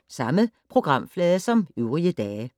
Samme programflade som øvrige dage